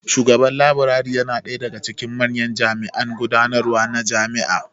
Shugaban Laburare yana ɗaya daga cikin manyan jami'an gudanarwa na jami'a